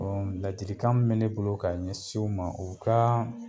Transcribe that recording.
ladilikan m bɛ ne bolo ka ɲɛsin u ma, u ka